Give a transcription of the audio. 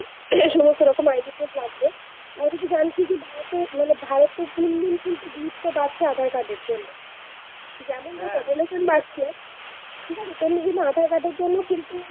এই সমস্ত রকম ID proof লাগবে। আর যদি যায় শুধু ভারতে মানে ভারতে দিল্লি কিন্তু গুরুত্ব বাড়ছে আধার-কার্ড এর জন্য। যেমন ধর population বাড়ছে তেমনি কিন্তু আধার-কার্ড এর জন্য কিন্তু,